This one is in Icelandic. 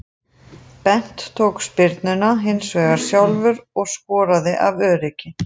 Bent tók spyrnuna hinsvegar sjálfur og skoraði af öryggi.